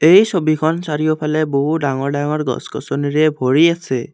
এই ছবিখন চাৰিওফালে বহুতো ডাঙৰ ডাঙৰ গছ-গছনিৰে ভৰি আছে।